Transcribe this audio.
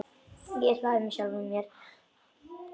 Ég hlæ með sjálfri mér.